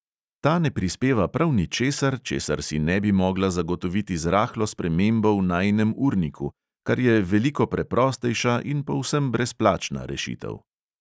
Ta ne prispeva prav ničesar, česar si ne bi mogla zagotoviti z rahlo spremembo v najinem urniku, kar je veliko preprostejša in povsem brezplačna rešitev.